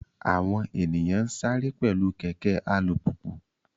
Àwọn ènìyàn ń sáré pẹ̀lú kẹ̀kẹ́ alùpùpù